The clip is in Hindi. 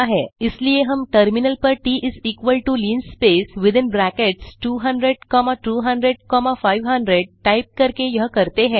इसलिए हम टर्मिनल पर t is equal to linspace within brackets 200 comma 200 comma 500 type करके यह करते हैं